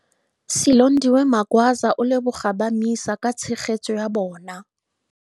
Silondiwe Magwaza o leboga ba MISA ka tshegetso ya bona.